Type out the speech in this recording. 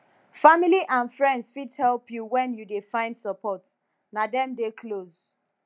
family and friends fit help your when you dey find support na dem dey close